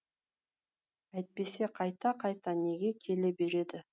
әйтпесе қайта қайта неге келе береді